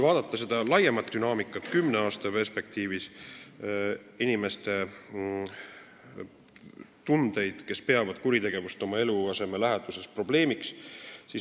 Vaatame laiemat dünaamikat kümne aasta jooksul, seda, kui palju on inimesi, kes peavad kuritegevust oma eluaseme läheduses probleemiks.